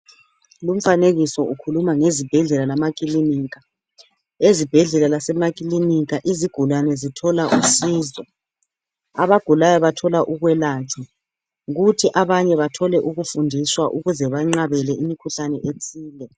Lumfanekiso ukhuluma ngezibhedlela lamakilinika ezibhedlela lasemakilinika izigulani zithola usizo abagulayo bathola ukwelatshwa kuthi abanye bathole ukufundisa ukuze banqabele imikhuhlane ethile.